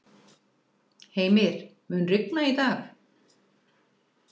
Heimir, mun rigna í dag?